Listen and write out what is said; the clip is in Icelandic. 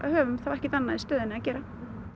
höfum þá ekkert annað í stöðunni að gera